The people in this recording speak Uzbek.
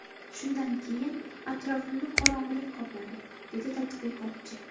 Shundan keyin atrofimni qorong‘ilik qopladi”, dedi tadqiqotchi.